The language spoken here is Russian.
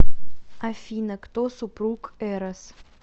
афина кто супруг эрос